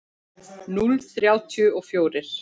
Núll þrjátíu og fjórir.